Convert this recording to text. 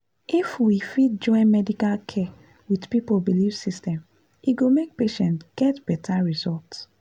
if we fit join medical care with people belief system e go make patients get better result.